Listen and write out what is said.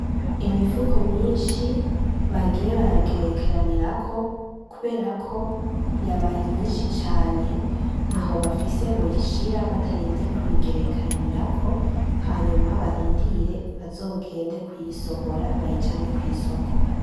Imifuko myinshi bagiye baragerekeranirako, kuberako yabaye myinshi cane ntahobafise byoyishira batarinze kuyigerekeranirako, hanyuma barindire bazogende kuyisohora bayijane kwisoko .